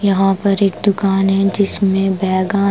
यहां पर एक दुकान है जिसमें बैगा --